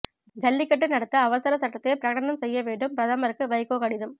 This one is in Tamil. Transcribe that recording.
ஜல்லிக்கட்டு நடத்த அவசர சட்டத்தை பிரகடனம் செய்ய வேண்டும் பிரதமருக்கு வைகோ கடிதம்